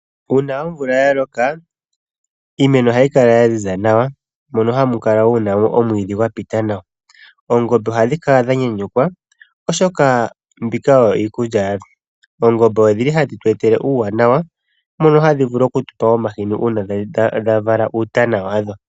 Uuna omvula yaloka iimeno ohayi kala yaziza nawa mono hamu kala wo muna omwiidhi gwapita nawa. Oongombe ohadhi kala dhanyanyukwa oshoka mbika oyo iikulya yadho. Oongombe odhili hadhi tu etele uuwanawa mono hadhi vulu okutupa omahini uuna dhavala uutana wadho.